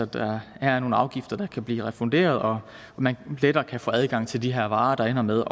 der her er nogle afgifter der kan blive refunderet og at man lettere kan få adgang til de her varer der ender med